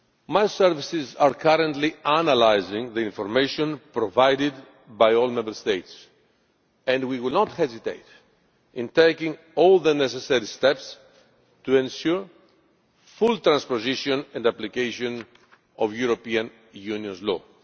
My services are currently analysing the information provided by all Member States and we will not hesitate to take all necessary steps to ensure full transposition and application of the European Union's law.